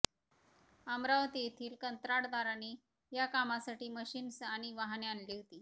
अमरावती येथील कंत्राटदाराने या कामासाठी मशिन्स आणि वाहने आणली होती